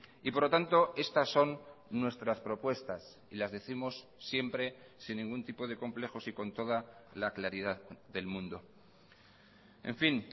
y por lo tanto estas son nuestras propuestas y las décimos siempre sin ningún tipo de complejos y con toda la claridad del mundo en fin